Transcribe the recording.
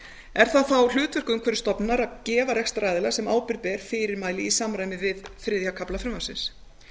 er það þá hlutverk umhverfisstofnunar að gefa rekstraraðila sem ábyrgð ber fyrirmæli í samræmi við þriðja kafla frumvarpsins